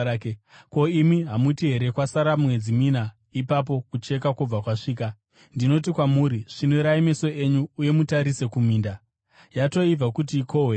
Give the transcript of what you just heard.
Ko, imi hamuti here, ‘Kwasara mwedzi mina ipapo kucheka kwobva kwasvika?’ Ndinoti kwamuri, svinurai meso enyu uye mutarise kuminda! Yatoibva kuti ikohwewe.